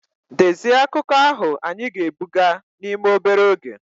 Dezie akụkọ ahụ anyị ga-ebuga n'ime obere oge!